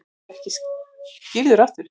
Hann verður ekki skírður aftur.